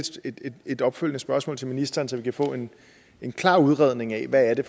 et opfølgende spørgsmål til ministeren så vi kan få en en klar udredning af hvad det